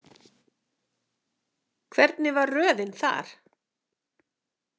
Hvernig var röðin þar?